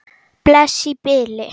Bless í bili.